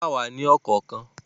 Wọ́n kà wá ní ọ̀kọ̀ọ̀kan.